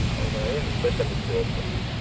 ಹೌದ ಏನು special ಇತ್ತು ಇವತ್ತು.